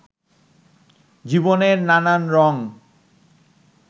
জীবনের নানান রঙ